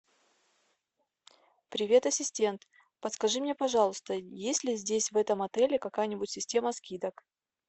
привет ассистент подскажи мне пожалуйста есть ли здесь в этом отеле какая нибудь система скидок